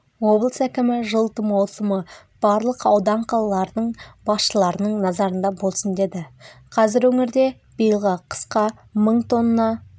облыс әкімі жылыту маусымы барлық аудан-қалалардың басшыларының назарында болсын деді қазір өңірде биылғы қысқа мың тонна